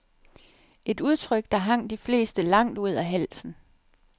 Et udtryk, der hang de fleste langt ud af halsen.